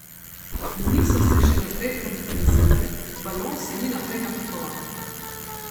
Niso se še naprej radikalizirale, balon se ni naprej napihoval.